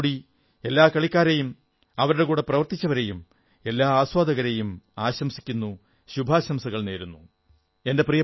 ഞാൻ ഒരിക്കൽ കൂടി എല്ലാ കളിക്കാരെയും അവരുടെ കൂടെ പ്രവർത്തിച്ചവരെയും എല്ലാ ആസ്വാദകരെയും ആശംസിക്കുന്നു ശുഭാശംസകൾ നേരുന്നു